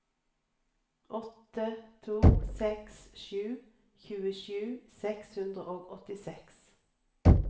åtte to seks sju tjuesju seks hundre og åttiseks